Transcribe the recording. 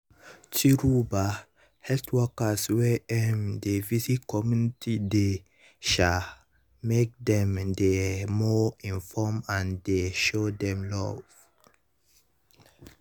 true ba health workers wey um dey visit communities dey um make dem dey more informed and dey show dem love.